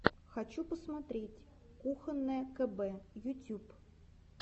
хочу посмотреть кухонное кб ютюб